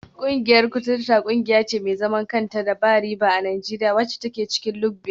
Kungiyar kuturta kungiya ce mai zaman kanta da ba riba a Najeriya, wacce ke cikin lugbe.